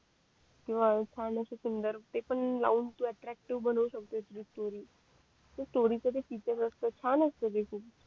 किंवा छान असे सिंगर ते पण लावून तू अट्रॅक्टीव्ह बनवू शकतो ती स्टोरी जे स्टोरी च जे किचन असत छान असत